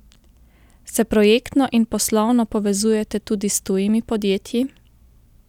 Se projektno in poslovno povezujete tudi s tujimi podjetji?